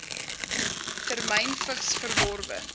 temyn vigs verworwe